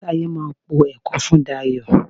Táyé máa po ẹ̀kọ fún Dayọ̀